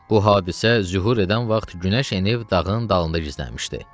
Bu hadisə zühur edən vaxt günəş enib dağın dalında gizlənmişdi.